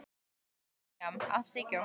Mirjam, áttu tyggjó?